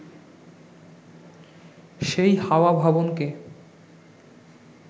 সেই হাওয়া ভবনকে